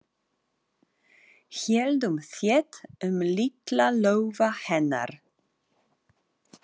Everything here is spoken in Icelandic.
Héldum þétt um litla lófa hennar.